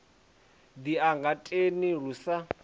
ḓi ya getheni lu sa